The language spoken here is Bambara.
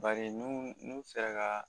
Bari n'u n'u sera ka